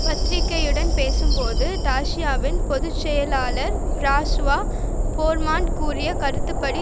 பத்திரிகையுடன் பேசும் போது டாசியாவின் பொது செயலாளர் பிரான்சுவா போர்மோன்ட் கூறிய கருத்துப்படி